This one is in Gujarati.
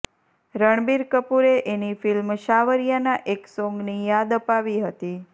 રણબીર કપૂરે એની ફિલ્મ સાવરિયાના એક સોન્ગની યાદ અપાવી હતી